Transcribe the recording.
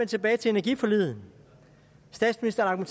tilbage til energiforliget statsministeren